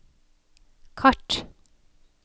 kart